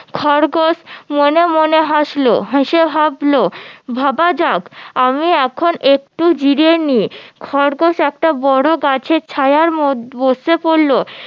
খরগোশ মনে মনে হাসলো হেসে ভাবলো ভাবা যায় আমি এখন একটু জিরিয়ে নেই খরগোশ একটা বড়ো গাছের ছায়ার মধ্যে বসে পড়লো